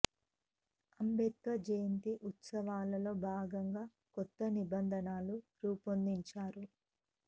Ambedkar Jayanti ఉత్సవాలలో భాగంగా కొత్త నిబం ధనలను రూపొందించారు